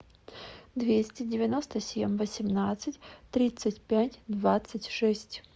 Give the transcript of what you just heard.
двести девяносто семь восемнадцать тридцать пять двадцать шесть